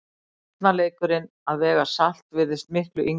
Barnaleikurinn að vega salt virðist miklu yngri.